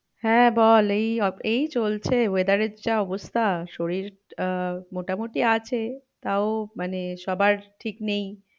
হ্যাঁ বল এই, এই চলছে weather এর যা অবস্থা শরীর আহ মোটামুটি আছে তাও মানে সবার ঠিক নেই।